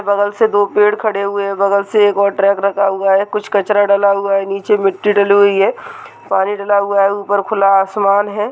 बगल से दो पेड़ खड़े हुये हैं | बगल से एक और ट्रैक रखा हुआ है | कुछ कचरा डला हुआ हैं नीचे मिट्टी डली हुई है पानी डाला हुआ है ऊपर खुला आसमान है।